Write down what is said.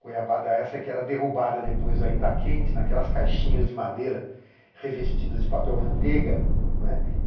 Goiabada essa que era derrubada depois, ainda quente, naquelas caixinhas de madeira revestidas de papel manteiga, não é.